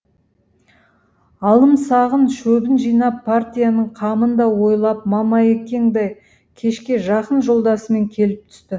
алымсағын шөбін жинап партияның қамын да ойлап мамаекең де кешке жақын жолдасымен келіп түсті